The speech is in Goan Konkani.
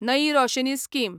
नई रोशनी स्कीम